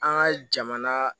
An ka jamana